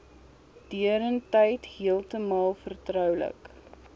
deurentyd heeltemal vertroulik